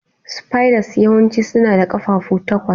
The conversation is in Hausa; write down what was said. Spiders yawanci suna da ƙafafu takwas.